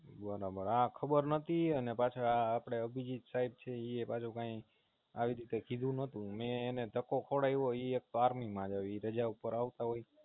બરાબર આ ખબર નાતી અને પાંચ આ અભિજીત સાયબ છે ઈ યે પાછું કે આવીરીતે કીધું નોતું મેં એને ઢાંકો ખવડાવયવો ઈ એક તો Army માં છે ઈ રાજા ઉપર આવતા હોય